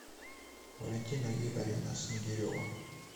валентина игоревна снегирева